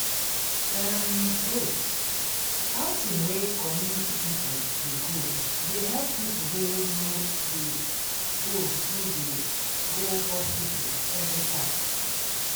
erm wait- outing wey community people dey go they help people wey no dey go no dey go hospital everytime.